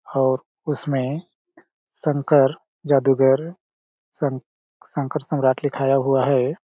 और उसमें शंकर जादूगर शंक शंकर सम्राट लिखाया हुआ हैं ।